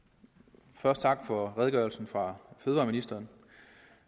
først takke for redegørelsen fra fødevareministeren